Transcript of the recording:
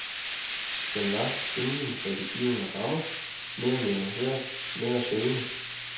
Den var, inden for de givne rammer, mere nuanceret, mere søgende.